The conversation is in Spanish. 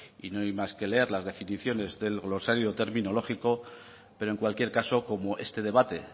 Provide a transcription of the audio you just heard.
y no hay más que leer las definiciones del glosario terminológico pero en cualquier caso como este debate